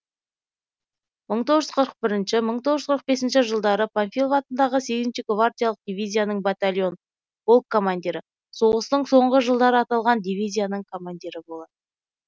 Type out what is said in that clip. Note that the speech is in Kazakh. мың тоғыз жүз қырық бірінші мың тоғыз жүз қырық бесінші жылдары панфилов атындағы сегізінші гвардиялық дивизияның батальон полк командирі соғыстың соңғы жылдары аталған дивизияның командирі болады